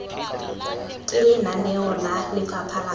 ke lenaneo la lefapha la